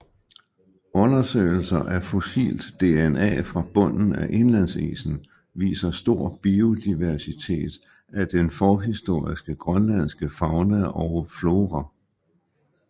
Undersøgelser af fossilt DNA fra bunden af indlandsisen viser stor biodiversitet af den forhistoriske grønlandske fauna og flora